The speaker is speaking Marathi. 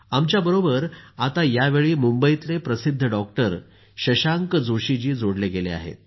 आमच्याबरोबर आता यावेळी मुंबईतले प्रसिद्ध डॉक्टर शशांक जोशीजी जोडले गेले आहेत